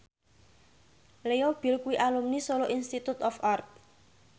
Leo Bill kuwi alumni Solo Institute of Art